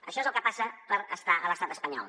això és el que passa per estar a l’estat espanyol